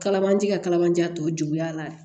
Kalamancɛ ka kalabanja tɔ juguya la